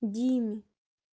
диме